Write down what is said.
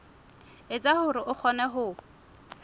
etsa hore o kgone ho